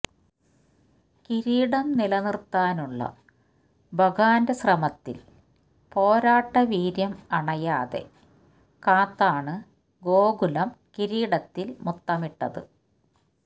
കിരീടം നിലനിര്ത്താനുള്ള ബഗാന്റെ ശ്രമത്തില് പോരാട്ടവീര്യം അണയാതെ കാത്താണ് ഗോകുലം കിരീടത്തില് മുത്തമിട്ടത്